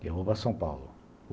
eu vou para São Paulo.